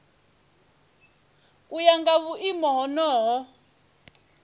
u ya nga vhuimo honoho